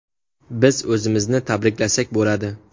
Biz o‘zimizni tabriklasak bo‘ladi.